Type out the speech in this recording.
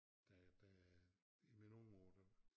Da da i mine unge år der